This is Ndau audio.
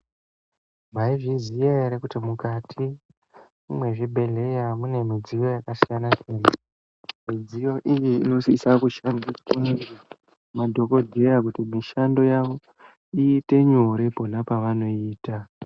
Maizviziya ere kuti mukati mezvibhehlera mune midziyo yakasiyana siyana, midziyo iyi inosisa kushandiswa nemadhogodheya kuti mishando yavo iite nyore pona pavanoyiita.